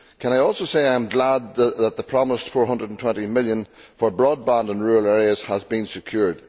I am glad that the promised EUR 420 million for broadband in rural areas has been secured.